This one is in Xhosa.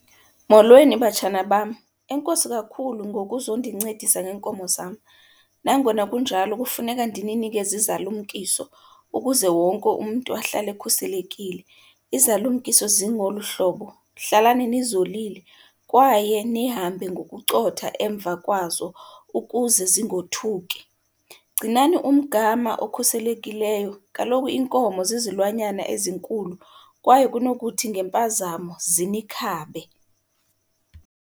Molweni, batshana bam. Enkosi kakhulu ngokuzondincedisa ngeenkomo zam. Nangona kunjalo kufuneka ndininikeze izalumkiso ukuze wonke umntu ahlale ekhuselekile. Izalumkiso zingolu hlobo, hlalani nizolile kwaye nihambe ngokucotha emva kwazo ukuze zingothuki. Gcinani umgama okhuselekileyo, kaloku iinkomo zizilwanyana ezinkulu kwaye kunokuthi ngempazamo zinikhabe.